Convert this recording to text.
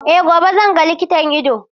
Eh gobe zan ga likitan ido.